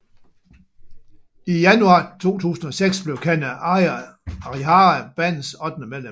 I januar 2006 blev Kanna Arihara bandets ottende medlem